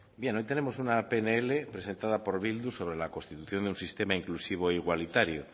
bien hoy tenemos una pnl presentada por bildu sobre la constitución de un sistema inclusivo e igualitario